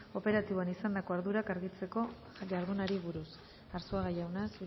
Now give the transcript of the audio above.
operatiboan izandako ardurak argitzeko jardunari buruz arzuaga jauna